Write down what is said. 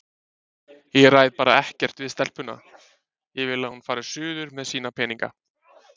Ég ræð bara ekkert við stelpuna, ég vil að hún fari suður með sína peninga